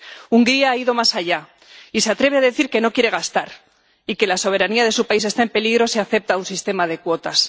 Hungría ha ido más allá, y se atreve a decir que no quiere gastar y que la soberanía de su país está en peligro si acepta un sistema de cuotas.